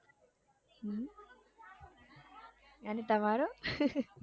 એને તમારો